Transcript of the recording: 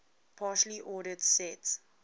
partially ordered set